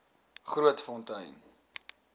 grootfontein